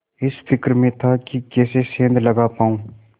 इस फिक्र में था कि कैसे सेंध लगा पाऊँ